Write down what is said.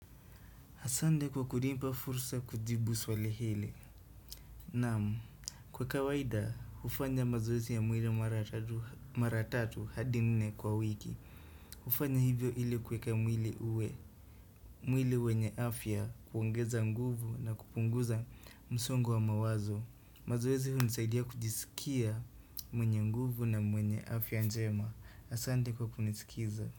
Asante kwa kunipa fursa ya kujibu swali hili. Naam, kwa kawaida, hufanya mazoezi ya mwili mara tatu hadi nne kwa wiki. Hufanya hivyo ili kuweka mwili uwe. Mwili wenye afya huongeza nguvu na kupunguza msongo wa mawazo. Mazoezi hunisaidia kujisikia mwenye nguvu na mwenye afya njema. Asante kwa kunisikiza.